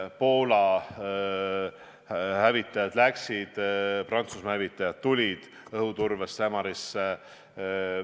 Poola hävitajad lahkusid Ämarist, Prantsusmaa hävitajad tulid õhuturbesse asemele.